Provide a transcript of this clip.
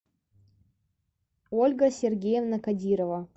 ольга сергеевна кадирова